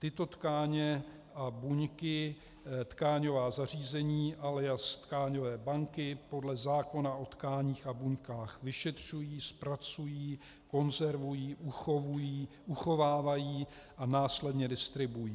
Tyto tkáně a buňky tkáňová zařízení alias tkáňové banky podle zákona o tkáních a buňkách vyšetří, zpracují, konzervují, uchovávají a následně distribuují.